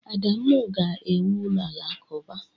Adamu ga-ewu ụlọ alakụba.